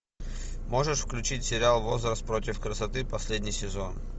можешь включить сериал возраст против красоты последний сезон